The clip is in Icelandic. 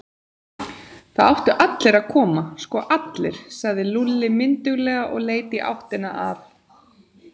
Það áttu allir að koma, sko allir, sagði Lúlli mynduglega og leit í áttina að